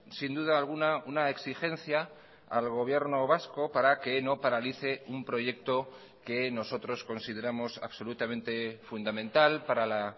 sin duda alguna una exigencia al gobierno vasco para que no paralice un proyecto que nosotros consideramos absolutamente fundamental para la